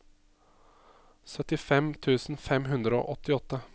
syttifem tusen fem hundre og åttiåtte